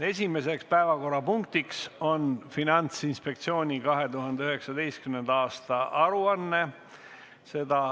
Esimene päevakorrapunkt on Finantsinspektsiooni 2019. aasta aruanne.